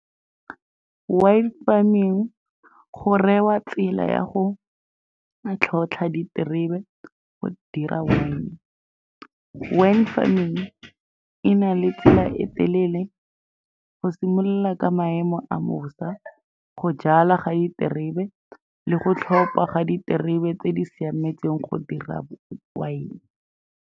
Wine farming go tsela ya go tlhotlha diterebe go dira wine. Wine farming e na le tsela e telele, go simolola ka maemo a bosa, go jala ga diterebe le go tlhopa ga diterebe tse di siametseng go dira wine.